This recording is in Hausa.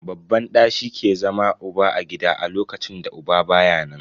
Babban ɗa shi ke zama uba a gida a lokacin da uba baya nan.